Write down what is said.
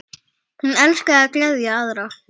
Hún elskaði að gleðja aðra.